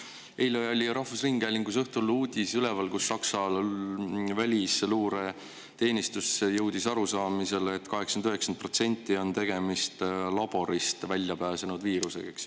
Eile õhtul oli rahvusringhäälingus uudis üleval, et Saksa välisluureteenistus jõudis arusaamisele, et 80–90% on tegemist laborist välja pääsenud viirusega.